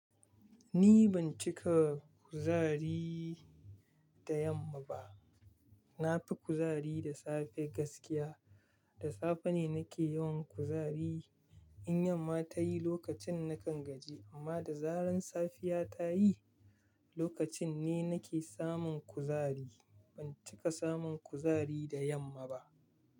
Ni ban cika kuzari da yamma ba. Na fi kuzari da safe gaskiya. Da safe ne nake yawan kuzari. In yamma ta yi lokacin na kan gaji, amma da zaran safiya ta yi lokacin ni nake samun kuzari. Ban cika samun kuzari da yamma ba.